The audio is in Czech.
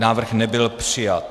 Návrh nebyl přijat.